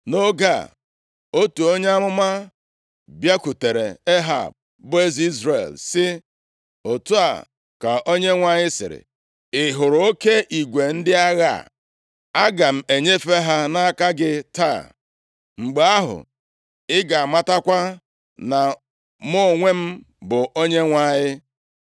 Nʼoge a, otu onye amụma bịakwutere Ehab, bụ eze Izrel sị, “Otu a ka Onyenwe anyị sịrị, ‘Ị hụrụ oke igwe ndị agha a? Aga m enyefe ha nʼaka gị taa, mgbe ahụ ị ga-amatakwa na mụ onwe m bụ Onyenwe anyị.’ ”+ 20:13 \+xt 1Ez 20:28\+xt*